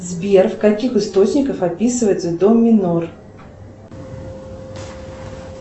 сбер в каких источниках описывается до минор